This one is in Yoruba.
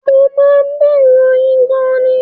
Mo máa ń bẹ̀rù oyin gan-an ni